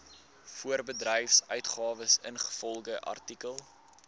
voorbedryfsuitgawes ingevolge artikel